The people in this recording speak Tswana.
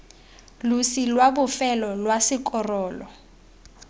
losi lwa bofelo lwa sekorolo